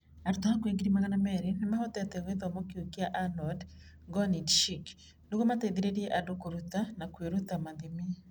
Arutwo hakuhĩ 200,000 nĩ mahotete gĩthomo kĩu gĩa Anonde Gonit Shikhi nĩguo mateithĩrĩrie andũ kũruta na kwĩruta mathimi.